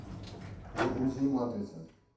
загрузи матрица